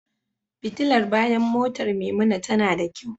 Fitilar bayan motar Maimuna tana da kyau.